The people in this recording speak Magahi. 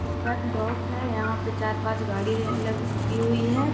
डिस्पैच डॉक है यहां पे चार-पांच गाड़िया ल-लगी हुई है।